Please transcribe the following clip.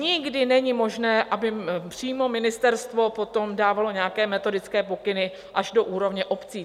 Nikdy není možné, aby přímo ministerstvo potom dávalo nějaké metodické pokyny až do úrovně obcí.